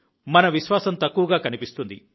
మన విశ్వాసం తక్కువగా కనిపిస్తుంది